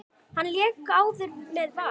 Hann lék áður með Val.